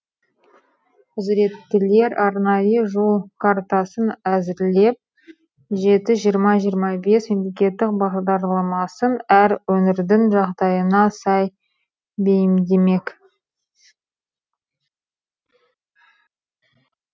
құзыреттілер арнайы жол картасын әзірлеп жеті жиырма жиырмабес мемлекеттік бағдарламасын әр өңірдің жағдайына сай бейімдемек